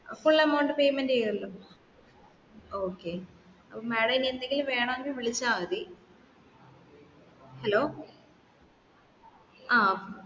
അ full amount payment cheyyuallo okay അപ്പൊ madam എന്തെങ്കിലും വേണെങ്കിൽ വിളിച്ചാമതി